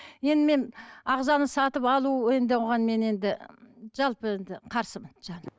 енді мен ағзаны сатып алу енді оған мен енді жалпы енді қарсымын жаным